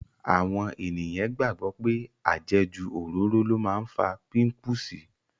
Àwọn ènìyàn gbàgbọ́ pé àjẹjù òróró ló máa ń fa pípùsì.